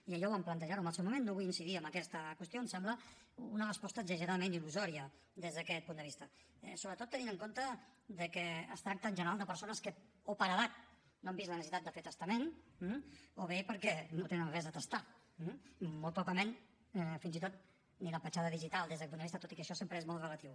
i ja ho vam plantejar en el seu moment no vull incidir en aquesta qüestió em sembla una resposta exageradament il·lusòria des d’aquest punt de vista sobretot tenint en compte que es tracta en general de persones que o per edat no han vist la necessitat de fer testament o bé perquè no tenen res a testar eh molt probablement fins i tot ni la petjada digital des d’aquest punt de vista tot i que això sempre és molt relatiu